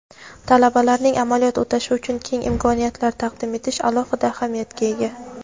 talabalarning amaliyot o‘tashi uchun keng imkoniyatlar taqdim etish alohida ahamiyatga ega.